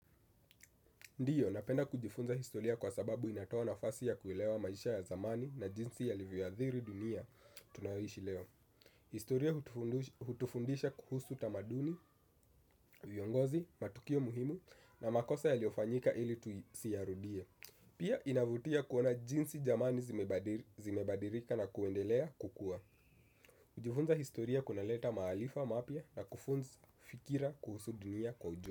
Ndiyo, napenda kujifunza historia kwa sababu inatoa nafasi ya kuilewa maisha ya zamani na jinsi ya yalivyoathiri dunia tunayoishi leo. Historia hutufundisha kuhusu tamaduni, uongozi, matukio muhimu na makosa yaliyofanyika ili tuisiyarudie. Pia inavutia kuona jinsi jamani zimebadilika na kuendelea kukua. Kujifunza historia kuna leta maarifa mapya na kufunza fikira kuhusu dunia kwa ujumla.